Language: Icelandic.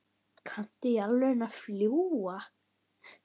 Kanntu í alvöru að fljúga?